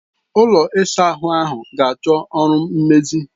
Ụlọ ịsa ahụ a ga achọ ọrụ mmezi.